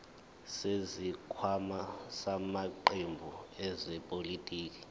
zesikhwama samaqembu ezepolitiki